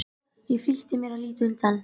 Ég flýtti mér að líta undan.